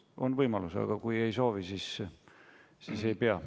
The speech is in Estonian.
On võimalus, aga kui ei soovi, siis ei pea.